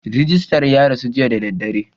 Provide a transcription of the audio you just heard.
Rijistar ya rasu jiya da dare.